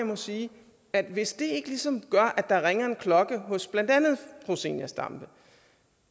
må sige at hvis det ikke ligesom gør at der ringer en klokke hos blandt andet fru zenia stampe